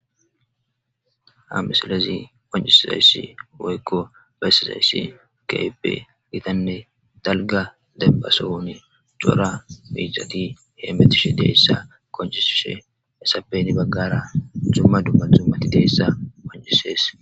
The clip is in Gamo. Ha missilezi qonccisizayis woykko besizayisi kehippe gittanne dalgga demmba sohon Cora mizati hemmetish dizayisa qonccisishe heyssappe henni baggara duma duma zummati dizayissa qonccises.